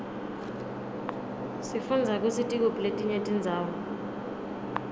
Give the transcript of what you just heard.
sifundza kutsi tikuphi letinye tindzawo